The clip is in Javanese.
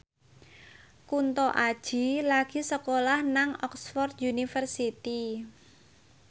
Kunto Aji lagi sekolah nang Oxford university